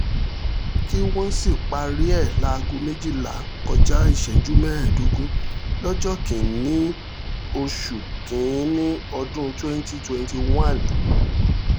kí wọ́n sì parí ẹ̀ láago méjìlá kọjá ìṣẹ́jú mẹ́ẹ̀ẹ́dógún lọ́jọ́ kìn-ín-ní oṣù kín-ín-ní ọdún 2021